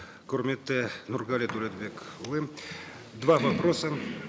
құрметті нұрғали дәулетбекұлы два вопроса